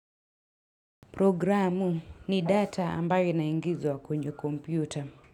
Programu ni data ambayo inaingizo wa kwenye kompyuta.